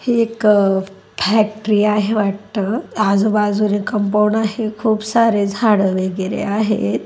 हे एक फॅक्टरी आहे वाटत आजुबाजू ने कंपाउंड आहे खूप सारे झाडं वगेरे आहेत.